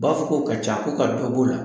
U b'a fɔ k'o ka ca ko ka dɔ b'o la